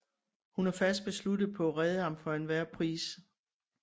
Hun er fast besluttet på at redde ham for enhver pris